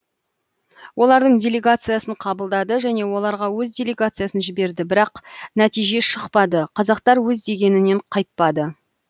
олардың делегациясын қабылдады және оларга өз делегациясын жіберді бірақ нәтиже шықпады қазақтар өз дегенінен қайтпады